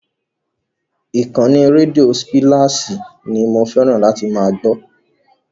Ìkànnì rédíò spláṣì ni mo fẹ́ràn láti máa gbọ́.